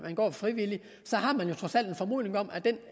går frivilligt har man jo trods alt en formodning om